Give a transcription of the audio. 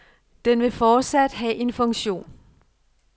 Den vil fortsat have en funktion.